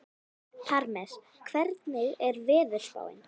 Parmes, hvernig er veðurspáin?